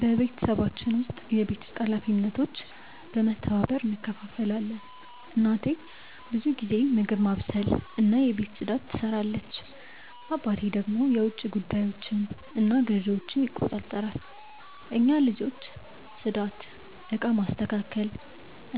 በቤተሰባችን ውስጥ የቤት ውስጥ ኃላፊነቶች በመተባበር እንከፋፈላለን። እናቴ ብዙ ጊዜ ምግብ ማብሰልና የቤት ፅዳት ትሰራለች፣ አባቴ ደግሞ የውጭ ጉዳዮችንና ግዢዎችን ይቆጣጠራሉ። እኛ ልጆች ጽዳት፣ እቃ ማስተካከል